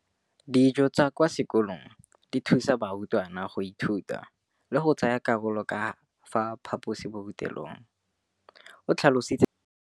Dijo tsa kwa sekolong dithusa barutwana go ithuta, go reetsa le go tsaya karolo ka fa phaposiborutelong, o tlhalositse jalo.